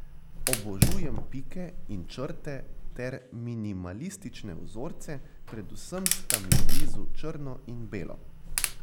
Obožujem pike in črte ter minimalistične vzorce, predvsem sta mi blizu črno in belo.